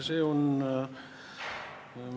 See on ...